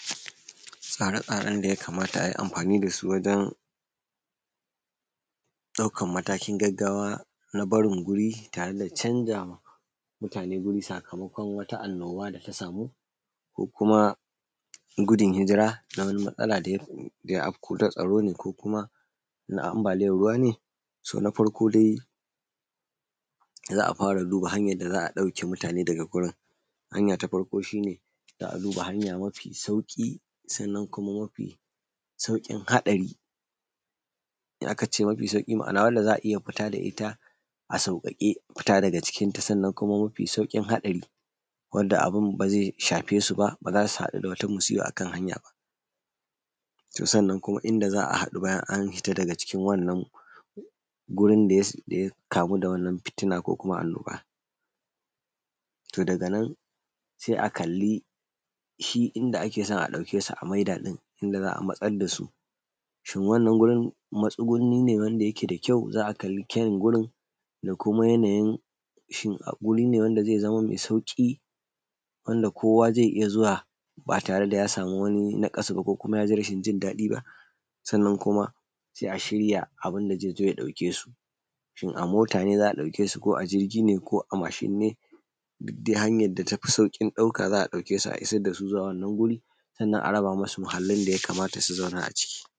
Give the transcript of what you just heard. Tsare-tsarenda ya kamata a yi amfani da su wajen ɗaukan matakin gaggawa na barin guri tare da canzawa matane wuri sakamakon wata annoba da ta samu ko kuma gudu hijira na matsala da ya afko. Na tsaro ne ko kuma na ambaliyan ruwa ne, na farƙo dai da za an fara duba ha:nyan da za a ɗauke mutane da wurin ha:nya ta farko shi ne za a duba ha:nya mafi sauƙi, sannan kuma mafi sauƙin haɗari da aka ce mafi sauƙi ma’ana wanda za a iya fita da ita a sauƙaƙe fita da cikin ta. Sannan kuma mafi sauƙin haɗari wanda abun ba ze shafe su ba za su haɗu da wata musiba akan ha:ya ba. to sannan kuma inda za a haɗu bayan kuma an fita da wannan gurin da ya kamu da wannan fitina ko kuma annoba to daga nan se a kalli shi inda ake so a ɗauke su a maida inda za a matsar da su, to shi wannan wurin matsugunni ne wanda yake da kyau za a kalli kyawu wurin da kuma da kuma yanayin shin wuri ne wanda ze zamanto me sauƙi wanda kowa ze iya zuwa ba tare da ya samu wata naƙasu ba ko kuma ya ji rashin jin daɗi ba. Sannan kuma ya shirya abun da ze zo: ya ɗauke su, shin a mota ne za a ɗauke su ko kuma a jirigi ne ko a mashi ne, duk ha:nyan da yafi sauƙin ɗauka za a ɗauke su a isar da su wannan wuri sannan a raba musu muhallin da yakamata su zauna a cikin.